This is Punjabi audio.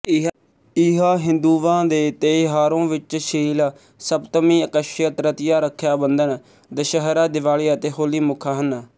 ਇਹਾਂਹਿੰਦੁਵਾਂਦੇ ਤਯੋਹਾਰੋਂ ਵਿੱਚ ਸ਼ੀਲ ਸਪਤਮੀ ਅਕਸ਼ਯ ਤ੍ਰਤੀਆ ਰੱਖਿਆ ਬੰਧਨ ਦਸ਼ਹਰਾ ਦਿਵਾਲੀ ਅਤੇ ਹੋਲੀ ਮੁੱਖ ਹਨ